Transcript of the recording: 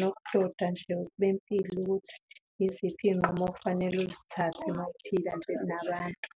nokudoda nje bempilo ukuthi yiziphi iy'nqumo okufanele uzithathe uma uphila nje nabantu.